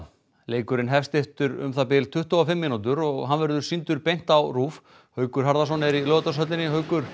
leikurinn hefst eftir um það bil tuttugu og fimm mínútur og verður hann sýndur beint á RÚV Haukur Harðarson er í Laugardalshöll Haukur